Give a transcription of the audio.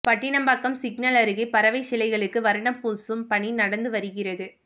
Pattinapakkam signal அருகே பறவை சிலைகளுக்கு வர்ணம் பூசும் பணி நடந்து வருகிறது